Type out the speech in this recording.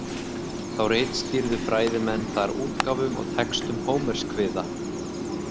Þá ritstýrðu fræðimenn þar útgáfum á textum Hómerskviða.